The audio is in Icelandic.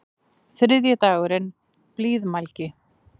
Þriðji dagurinn: Blíðmælgi.